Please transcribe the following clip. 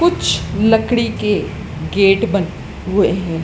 कुछ लकड़ी के गेट ए हुए है।